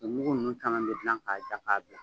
U mugu ninnu caman bɛ gilan k'a ja k'a bila.